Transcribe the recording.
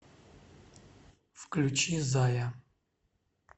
включи зая